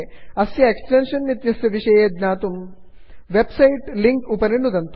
अस्य एक्स्टेन्षन् इत्यस्य विषये ज्ञातुं वेब् सैट् लिङ्क् उपरि नुदन्तु